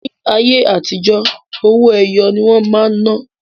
Ní ayé àtijó, owó-ẹyọ ní wọn máa ń ná